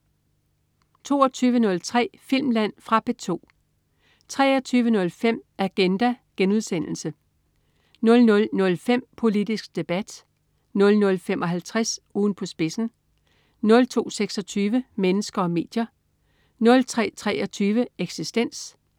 22.03 Filmland. Fra P2 23.05 Agenda* 00.05 Politisk Debat* 00.55 Ugen på spidsen* 02.26 Mennesker og medier* 03.23 Eksistens*